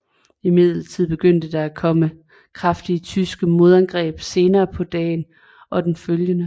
Imidlertid begyndte der at komme kraftige tyske modangreb senere på dagen og den følgende